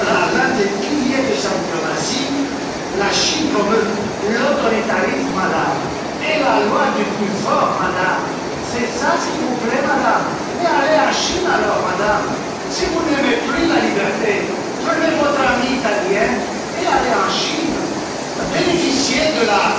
l'un des piliers de sa diplomatie, la Chine promeut l'autoritarisme, Madame, et la loi du plus fort, Madame, c'est ce qui vous plaît, Madame? Mais allez en Chine, alors, Madame! Si vous n'aimez plus la liberté, emmenez votre amie italienne et allez bénéficier de